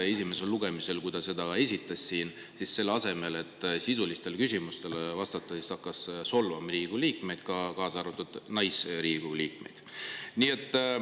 Esimesel lugemisel, kui ta seda siin esitles, siis selle asemel, et sisulistele küsimustele vastata, ta hakkas solvama Riigikogu liikmeid, kaasa arvatud Riigikogu naisliikmeid.